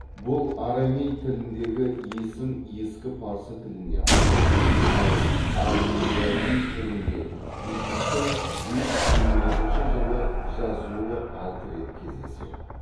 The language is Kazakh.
бұл арамей тіліндегі есім ескі парсы тіліне ауысты ал арминияи түрінде бехистің бес жүз жиырма екінші жылы жазуы алты рет кездеседі